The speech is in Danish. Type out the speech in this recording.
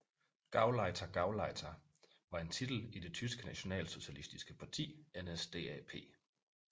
GauleiterGauleiter var en titel i det tyske nationalsocialistiske parti NSDAP